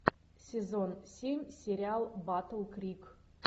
сезон семь сериал батл крик